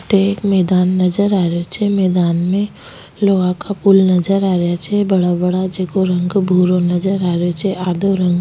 अठ एक मैदान नजर आ रो छे मैदान में लोहा का पूल नजर आ रा छे बड़ा बड़ा जैको रंग भूरो नजर आ रो छ आधों रंग --